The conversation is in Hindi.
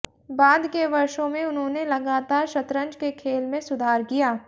बाद के वर्षों में उन्होंने लगातार शतरंज के खेल में सुधार किया